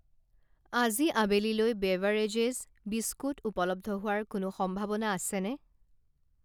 আজি আবেলিলৈ beverages, biscuit উপলব্ধ হোৱাৰ কোনো সম্ভাৱনা আছেনে ?